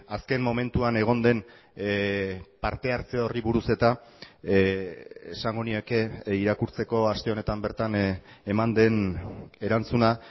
azken momentuan egon den parte hartze horri buruz eta esango nieke irakurtzeko aste honetan bertan eman den erantzuna